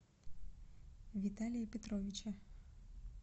виталия петровича